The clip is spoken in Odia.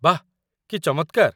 ବାଃ! କି ଚମତ୍କାର।